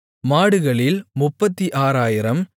மாடுகளில் 36000